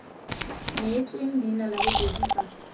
neetswe leina la bobedi fa